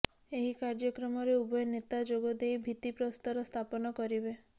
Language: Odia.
ଏହି କାର୍ଯ୍ୟକ୍ରମରେ ଉଭୟ ନେତା ଯୋଗ ଦେଇ ଭିତ୍ତିପ୍ରସ୍ତର ସ୍ଥାପନ କରିବେ